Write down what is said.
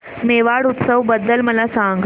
मेवाड उत्सव बद्दल मला सांग